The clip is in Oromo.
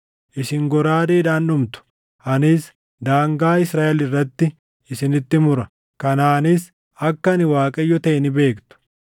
Isin goraadeedhaan dhumtu; anis daangaa Israaʼel irratti isinitti mura. Kanaanis akka ani Waaqayyo taʼe ni beektu.